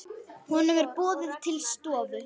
Honum er boðið til stofu.